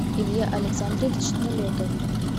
илья александрович налетов